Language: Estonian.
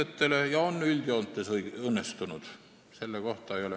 Ma pealkirjastaksin oma käsitluse järgmiselt: "Kohtuvõimust ja selle suhtest rahvavõimuga".